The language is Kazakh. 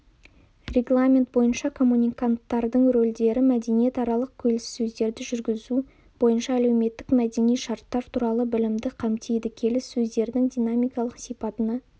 регламент бойынша коммуниканттардың рөлдері мәдениаралық келіссөздерді жүргізу бойынша әлеуметтік-мәдени шарттар туралы білімді қамтиды келіссөздердің динамикалық сипатына